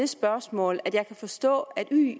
spørgsmål jeg kan forstå at